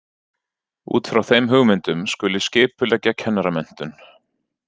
Út frá þeim hugmyndum skuli skipuleggja kennaramenntun.